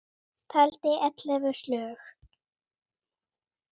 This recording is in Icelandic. Taldi ellefu slög.